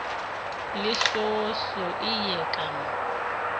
lesoosoo eye ka mo o